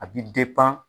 A bi